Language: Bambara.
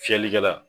Fiyɛlikɛla